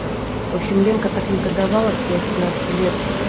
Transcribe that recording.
в общем ленка так негодовала в свои пятнадцать лет